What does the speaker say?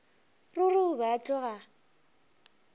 ruri o be a tloga